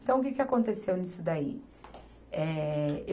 Então, o que que aconteceu nisso daí? É